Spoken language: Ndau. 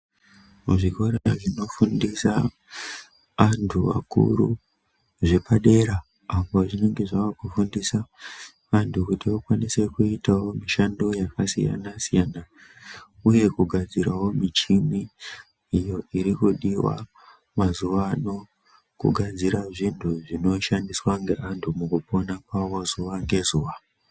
Muzvikora zvinofundisa antu akuru zvepadera apo zvinonge zvakufundisa antu kuti vakwanise kuitavo mishando yakasiyana-siyana, uye kugadziravo michini iyo irikudiva mazuva ano kugadzira zvinhu zvinoshandiswa ngeantu mukupona kwavo zuva ngezuva.